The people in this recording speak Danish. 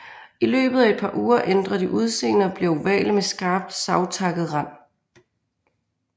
I løbet af et par uger ændrer de udseende og bliver ovale med skarpt savtakket rand